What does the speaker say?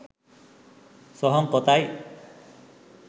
සොහොන් කොතයි